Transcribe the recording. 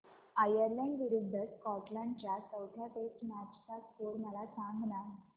Ireland विरूद्ध Scotland च्या चौथ्या टेस्ट मॅच चा स्कोर मला सांगना